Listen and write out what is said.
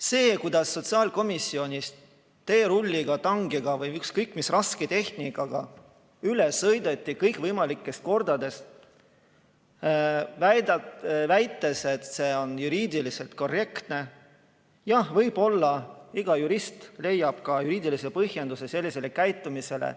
See, kuidas sotsiaalkomisjonis teerulliga, tankiga või ükskõik mis rasketehnikaga üle sõideti kõikvõimalikest kordadest, väites, et see on juriidiliselt korrektne – jah, võib-olla iga jurist leiab ka juriidilise põhjenduse sellisele käitumisele.